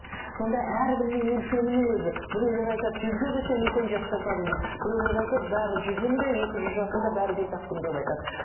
сонда әркімнің өлшемінің өзі біреулер айтады жүзге келсең үлкен жас жасадың дейді біреулер айтады бәрі жүзің де екі жүз жасың да бәрі бес ақ күн деп айтады